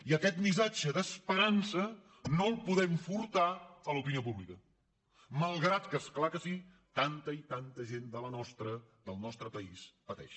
i aquest mis·satge d’esperança no el podem furtar a l’opinió públi·ca malgrat que és clar que sí tanta i tanta gent del nostre país pateix